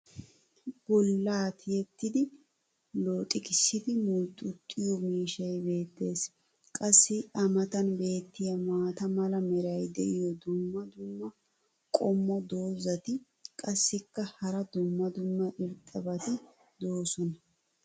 bolaa tiyettidi looxxigissidi mulxxuxxiyo miishshay beetees. qassi a matan beetiya maata mala meray diyo dumma dumma qommo dozzati qassikka hara dumma dumma irxxabati doosona.